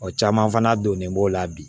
O caman fana donnen b'o la bi